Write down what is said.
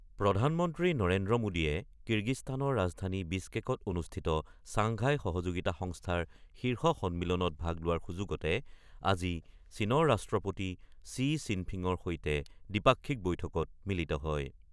প্ৰধানমন্ত্ৰী নৰেন্দ্ৰ মোদীয়ে কিৰ্গিস্তানৰ ৰাজধানী বিছকেকত অনুষ্ঠিত চাংঘাই সহযোগিতা সংস্থাৰ শীৰ্ষ সন্মিলনত ভাগ লোৱাৰ সুযোগতে আজি চীনৰ ৰাষ্ট্ৰপতি শ্বি শ্বিনফিঙৰ সৈতে দ্বিপাক্ষিক বৈঠকত মিলিত হয়।